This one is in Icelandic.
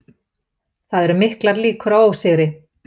Það eru miklar líkur á ósigri